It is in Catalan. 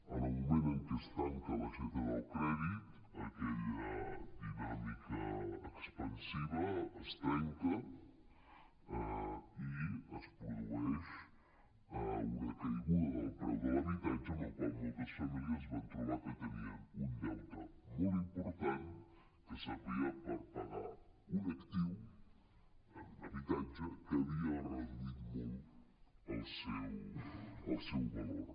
en el moment en què es tanca l’aixeta del crèdit aquella dinàmica expansiva es trenca i es produeix una caiguda del preu de l’habitatge amb la qual cosa moltes famílies es van trobar que tenien un deute molt important que servia per pagar un actiu un habitatge que havia reduït molt el seu valor